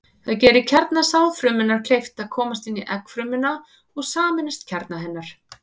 Það gerir kjarna sáðfrumunnar kleift að komast inn í eggfrumuna og sameinast kjarna hennar.